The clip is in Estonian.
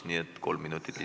Nii et kolm minutit lisaaega.